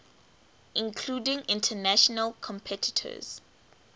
including international competitors